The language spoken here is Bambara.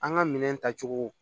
An ka minɛn tacogo